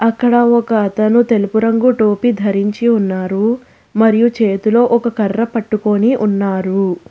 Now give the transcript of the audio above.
ఇక్కడ ఒక అతను తెలుపు రంగు టోపీ ధరించి ఉన్నారు మరియు చేతిలో ఒక కర్ర పట్టుకొని ఉన్నారు.